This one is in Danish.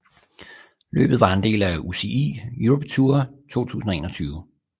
Løbet var en del af UCI Europe Tour 2021